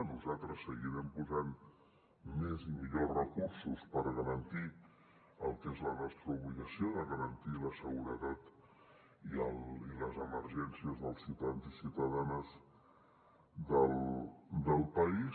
nosaltres seguirem posant més i millors recursos per garantir el que és la nostra obligació de garantir la seguretat i les emergències dels ciutadans i ciutadanes del país